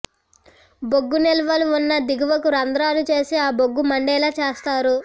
బొగ్గు నిల్వలు ఉన్న దిగువకు రంధ్రాలు చేసి ఆ బొగ్గు మండేలా చేస్తారు